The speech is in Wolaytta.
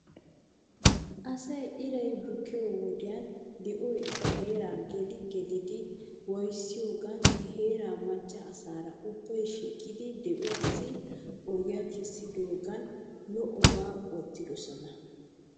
Asaa iray bukkiyoo wodiyan di'oy eta heeraa geli gelidi waayissiyoogan he heeraa macca asaara ubbay shhiqidi di'uwaassi ogiyaa kessidoogan lo'obaa oottidosona.